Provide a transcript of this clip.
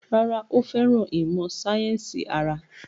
Rárá, ó fẹ́ràn ìmọ̀ sáyẹ́sì ara